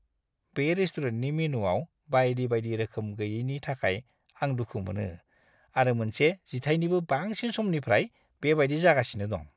बे रेस्टुरेन्टनि मेनुआव बायदि-बायदि रोखोम गैयैनि थाखाय आं दुखु मोनो आरो मोनसे जिथायनिबो बांसिन समनिफ्राय बेबायदि जागासिनो दं।